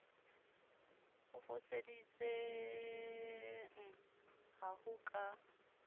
o foseditseng ha ho ka